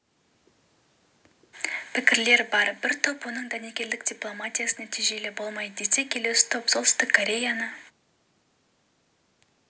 пікірлер бар бір топ оның дәнекерлік дипломатиясы нәтижелі болмайды десе келесі топ пен солтүстік кореяны